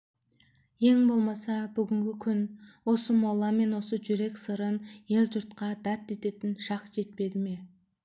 ең болмаса бүгінгі күн осы мола мен сол жүрек сырын ел-жұртқа дат ететін шақ жетпеді ме